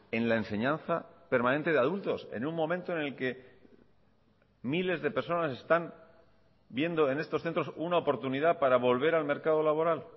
en la enseñanza permanente de adultos en un momento en el que miles de personas están viendo en estos centros una oportunidad para volver al mercado laboral